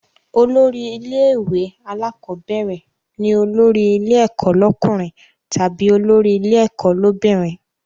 Olórí ilé ìwé alákọ́bẹ̀rẹ̀ ni olórí ilé ẹ̀kọ́ lọ́kùnrin tàbí olórí ilé ẹ̀kọ́ l'óbìnrin